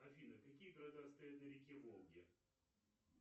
афина какие города стоят на реке волге